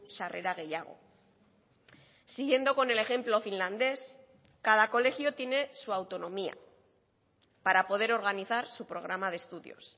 sarrera gehiago siguiendo con el ejemplo finlandés cada colegio tiene su autonomía para poder organizar su programa de estudios